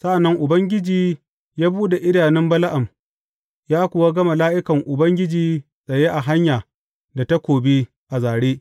Sa’an nan Ubangiji ya buɗe idanun Bala’am, ya kuwa ga mala’ikan Ubangiji tsaye a hanya da takobi a zāre.